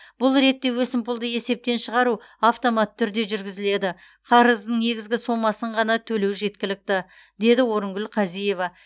бұл ретте өсімпұлды есептен шығару автоматты түрде жүргізіледі қарыздың негізгі сомасын ғана төлеу жеткілікті деді орынкүл қазиева